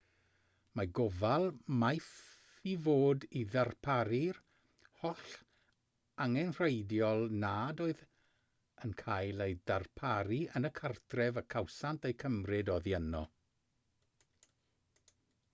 mae gofal maeth i fod i ddarparu'r holl angenrheidiol nad oedd yn cael eu darparu yn y cartref y cawsant eu cymryd oddi yno